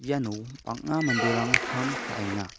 iano bang·a manderang kam ka·enga.